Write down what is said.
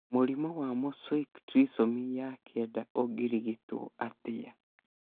Mũrimũ wa mosaic trisomy ya 9 ũngĩrigituo atĩa?